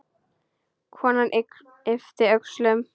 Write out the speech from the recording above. Konan yppti öxlum.